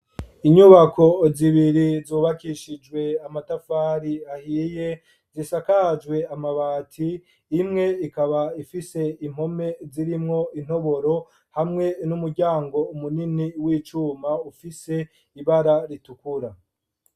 Inyubako zibiri, zubakishijwe amatafari ahiye, zisakajwe amabati; imwe, ikaba ifise impome zirimwo intoboro, hamwe n'umuryango munini, w'icuma, ufise ibara ritukura.